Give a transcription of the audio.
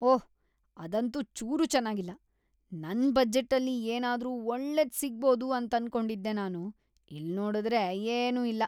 ಓಹ್, ಅದಂತೂ ಚೂರೂ ಚೆನ್ನಾಗಿಲ್ಲ. ನನ್ ಬಜೆಟ್ಟಲ್ಲಿ ಏನಾದ್ರೂ ಒಳ್ಳೇದ್ ಸಿಗ್ಬೋದು ಅಂತನ್ಕೊಂಡಿದ್ದೆ ನಾನು. ಇಲ್ನೋಡುದ್ರೆ ಏನೂ ಇಲ್ಲ.